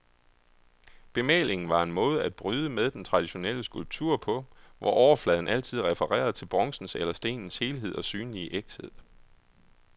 Bemalingen var en måde at bryde med den traditionelle skulptur på, hvor overfladen altid refererede til bronzens eller stenens helhed og synlige ægthed.